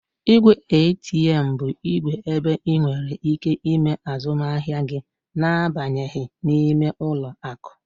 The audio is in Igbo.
Ìgwè ATM bụ igwe ebe ị nwèrè ike ime azụmahịa gị na abanyeghị n'ime ụlọ akụ